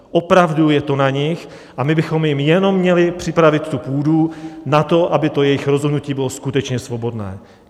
Opravdu je to na nich a my bychom jim jenom měli připravit tu půdu na to, aby to jejich rozhodnutí bylo skutečně svobodné.